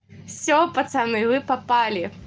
всё пацаны вы попали